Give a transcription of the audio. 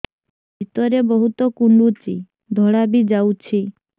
ଭିତରେ ବହୁତ କୁଣ୍ଡୁଚି ଧଳା ବି ଯାଉଛି